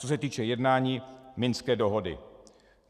Co se týče jednání, Minské dohody.